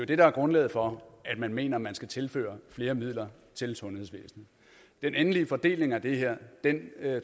det der er grundlaget for at man mener at man skal tilføre flere midler til sundhedsvæsenet den endelige fordeling af det her